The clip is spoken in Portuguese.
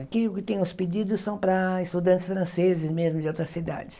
Aqui o que tem os pedidos são para estudantes franceses mesmo de outras cidades.